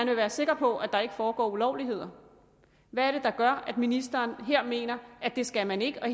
vil være sikker på at der ikke foregår ulovligheder hvad er det der gør at ministeren mener at det skal man ikke her